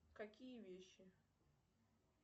какие вещи